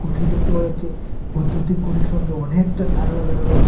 দেখতে পাওয়া যাচ্চে বৈদ্যুতিক খুঁটির অনেকটা তার লাগানো রয়েচে।